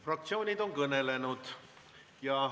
Fraktsioonid on kõnelenud.